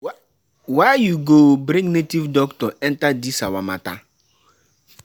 Why you go bring native native doctor enter dis our matter?